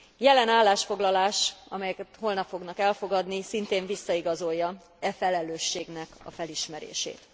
Jelen állásfoglalás, amelyet holnap fognak elfogadni, szintén visszaigazolja e felelősségnek a felismerését.